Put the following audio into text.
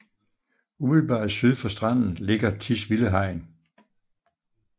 Umiddelbart syd for stranden ligger Tisvilde Hegn